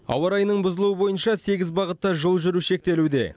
ауа райының бұзылуы бойынша сегіз бағытта жол жүру шектелуде